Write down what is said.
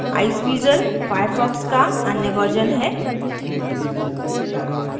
iceweasel firefox का अन्य version है